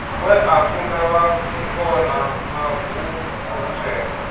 we a kunda vhangona maguvhutswera